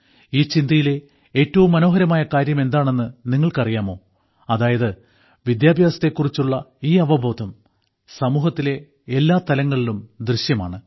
ഈ ചിന്തയിലെ ഏറ്റവും മനോഹരമായ കാര്യം എന്താണെന്ന് നിങ്ങൾക്ക് അറിയാമോ അതായത് വിദ്യാഭ്യാസത്തെക്കുറിച്ചുള്ള ഈ അവബോധം സമൂഹത്തിലെ എല്ലാ തലങ്ങളിലും ദൃശ്യമാണ്